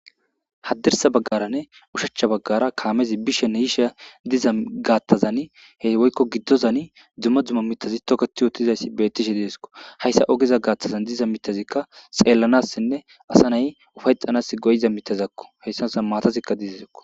haddirsa baggaranne ushachcha baggara kaamezi bishenne hisha diza gaattazan he woykko giddozan dzumma dzumma mitazi toketi wootizayssi beettishe diesko hayssa ogiza gaattazan diza mitazikka xeellanassinne asa nay ufayxanas goyiza mitazakko heyssanoza maatazikka dizazakko